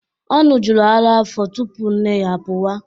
Ọ ṅụjuru ara afọ tupu nne ya apụwa.